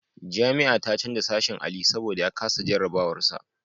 Jami'a ta canja sashen Ali saboda ya kasa jarabawar sa.